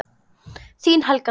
Þín Helga Dögg.